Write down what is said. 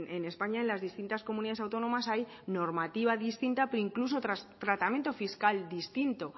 en españa en las distintas comunidades autónomas hay normativa distinta pero incluso tratamiento fiscal distinto